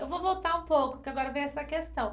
Eu vou voltar um pouco, que agora vem essa questão.